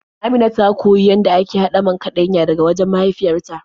Amina ta koyi yadda ake haɗa man kaɗanya daga wajen mahaifyar ta.